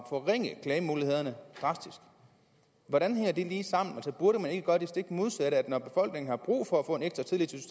forringe klagemulighederne drastisk hvordan hænger det lige sammen burde man ikke gøre det stik modsatte at når befolkningen har brug for at få ekstra tillid til